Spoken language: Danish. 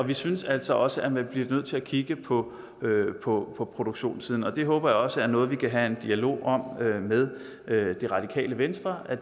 vi synes altså også at man bliver nødt til at kigge på på produktionssiden og det håber jeg også er noget vi kan have en dialog om med radikale venstre og